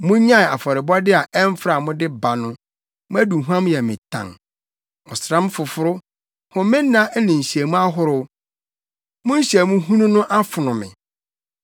Munnyae afɔrebɔde a ɛmfra a mode ba no! Mo aduhuam yɛ me tan. Ɔsram foforo, homenna ne nhyiamu ahorow, mo nhyiamu hunu no afono me.